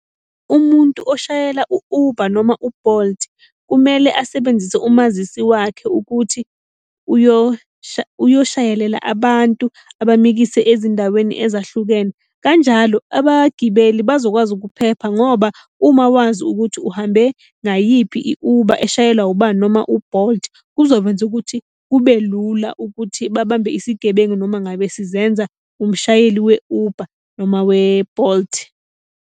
Umuntu oshayela u-Uber noma u-Bolt kumele asebenzise umazisi wakhe ukuthi uyoshayelela abantu abamikise ezindaweni ezahlukene. Kanjalo abagibeli bazokwazi ukuphepha ngoba uma wazi ukuthi uhambe ngayiphi i-Uber eshayelwa ubani noma u-Bolt, kuzokwenza ukuthi kube lula ukuthi babambe isigebengu noma ngabe sizenza umshayeli we-Uber noma we-Bolt.